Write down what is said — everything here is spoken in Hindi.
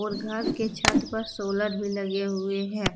और घर के छत पर सोलर भी लगे हुए हैं।